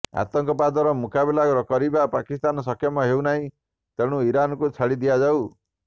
ଆତଙ୍କବାଦର ମୁକାବିଲା କରିବାରେ ପାକିସ୍ତାନ ସକ୍ଷମ ହେଉନାହିଁ ତେଣୁ ଇରାନକୁ ଛାଡିଦିଆଯାଉ